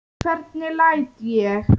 Hvernig læt ég!